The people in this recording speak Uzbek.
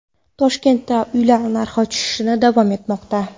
Toshkentda uylar narxi tushishda davom etmoqda.